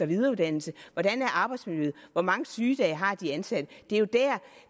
videreuddannelse hvordan er arbejdsmiljøet hvor mange sygedage har de ansatte